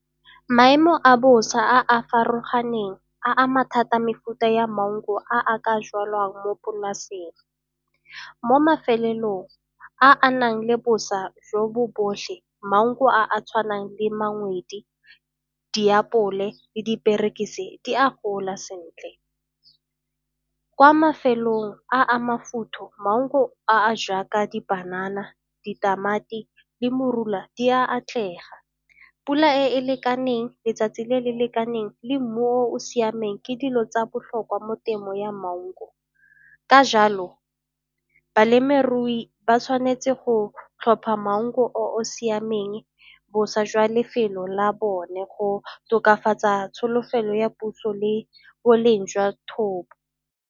Maemo a bosa a a farologaneng a ama thata mefuta ya maungo a a ka jalwang mo polaseng. Mo a a nang le boswa jo bo botlhe maungo a a tshwanang le , diapole le diperekise di a gola sentle. Kwa mafelong a a maungo a a jaaka di panana, ditamati le morula di a atlega. Pula e e lekaneng, letsatsi le le lekaneng le mmu o o siameng ke dilo tsa botlhokwa mo temo ya maungo ka jalo balemirui ba sa tshwanetse go tlhopha mango o o siameng boswa jwa lefelo la bone go tokafatsa tsholofelo ya puso le boleng jwa thobo.